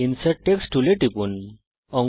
insert text টুলের উপর টিপুন